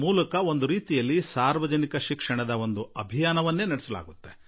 ಒಂದು ರೀತಿಯಲ್ಲಿ ಜನಶಿಕ್ಷಣದ ದೊಡ್ಡ ಆಂದೋಲನ ಸಾರ್ವಜನಿಕ ಗಣೇಶೋತ್ಸವದ ಮೂಲಕ ನಡೆಯುತ್ತದೆ